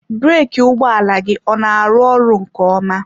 Breeki ụgbọ ala gị ọ na-arụ ọrụ nke ọma?